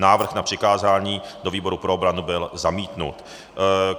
Návrh na přikázání do výboru pro obranu byl zamítnut.